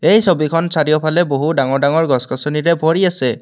এই ছবিখন চাৰিওফালে বহু ডাঙৰ ডাঙৰ গছ গছনিৰে ভৰি আছে।